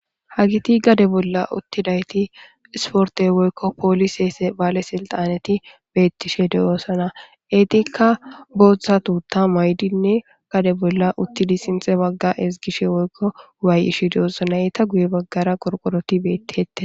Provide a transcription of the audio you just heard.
Ha geeti gaade bolla uttidayit iisporte woykko poolise bale silixenet beetishe deosona iitika boota tuuta maayidne gaade bolla uttidi sinta baaga ezigishe woykko wayeytishe deosona heitha guye bagara korikoroti betetes.